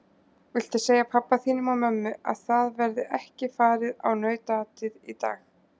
Viltu segja pabba þínum og mömmu að það verði ekki farið á nautaatið í dag!